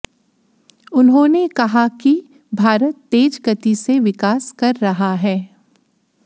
उन्होंने कहा कि भारत तेज गति से विकास कर रहा है